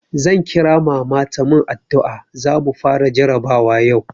Zan kira mama ta mun addu'a, zamu fara jarabawa yau.